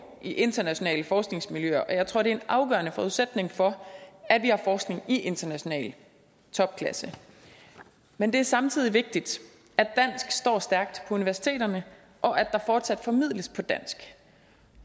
i internationale forskningsmiljøer og jeg tror det er en afgørende forudsætning for at vi har forskning i international topklasse men det er samtidig vigtigt at dansk står stærkt på universiteterne og at der fortsat formidles på dansk